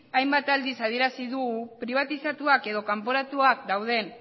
hainbat aldiz adierazi dugu pribatizatuak edo kanporatuak dauden